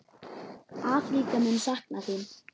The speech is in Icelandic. Afríka mun sakna þín.